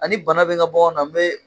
Ani bana bɛ ŋa baganw na n be